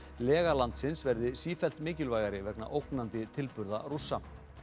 lega landsins verði sífellt mikilvægari vegna ógnandi tilburða Rússa